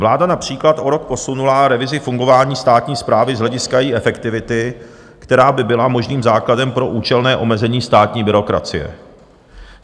Vláda například o rok posunula revizi fungování státní správy z hlediska její efektivity, která by byla možným základem pro účelné omezení státní byrokracie.